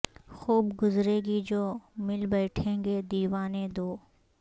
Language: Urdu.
خوب گزرے گی جو مل بیٹھیں گے دیوانے دو